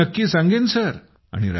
हो नक्की सांगेन सर